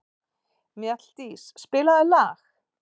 Mjalldís, spilaðu lag.